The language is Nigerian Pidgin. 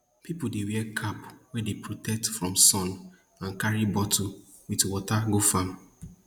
pipo dey wear cap wey dey protect from sun and carry bottle with water go farm